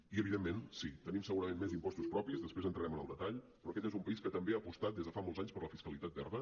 i evidentment sí tenim segurament més impostos propis després entrarem en el detall però aquest és un país que també ha apostat des de fa molts anys per la fiscalitat verda